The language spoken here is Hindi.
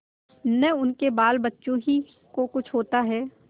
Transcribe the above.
न उनके बालबच्चों ही को कुछ होता है